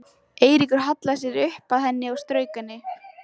Eiríkur hallaði sér upp að henni og strauk henni.